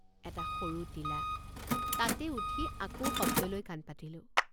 এটা সৰু টিলা তাতে উঠি আকৌ শব্দলৈ কাণ পাতিলোঁ।